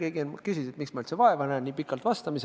Keegi küsis, et miks ma nii pikalt vastamisega üldse vaeva näen.